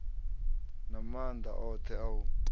na maanḓa oṱhe a u